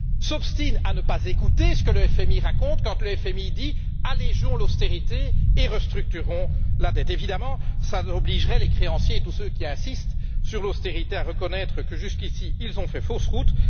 s'obstinent à ne pas écouter ce que le FMI raconte quand il dit Allégeons l'austérité et restructurons la dette. Évidemment, cela obligerait les créanciers, et tous ceux qui insistent sur l'austérité, à reconnaître que jusqu'ici, ils ont fait fausse route.